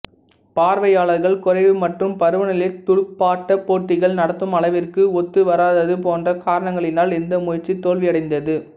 பார்வையாளர்கள் குறைவு மற்றும் பருவநிலை துடுப்பாட்டப் போட்டிகள் நடத்தும் அளவிற்கு ஒத்து வராரதது போன்ற காரணங்களினால் இந்த முயற்சி தோல்வியடைந்தது